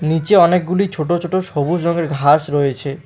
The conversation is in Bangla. নীচে অনেকগুলি ছোট ছোট সবুজ রঙের ঘাস রয়েছে।